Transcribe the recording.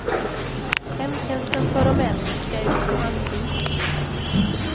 Hemtjänsten för de äldre ska ut på anbud.